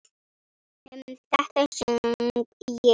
Um þetta söng ég: